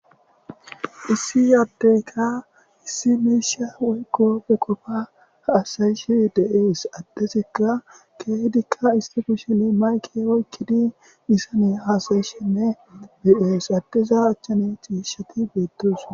Issi yaaddeyka issi meisha weygoppe qofa haasayishi deees addesikka keehdikka istifusheni mayke oykkidi disane haasayishinne be'ees addeza achchane ciishati beettos